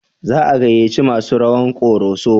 Za a gayyaci masu rawan Koroso?